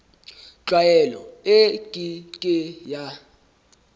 tlwaelo e ke ke ya